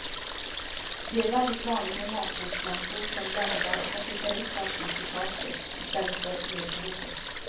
Det är väldigt vanligt med matbordslampor som bländar och som skickar upp allt ljus i taket i stället för ner på bordet.